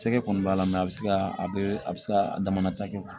Cɛkɛ kɔni b'a la a bɛ se ka a bɛ a bɛ se ka a damata kɛ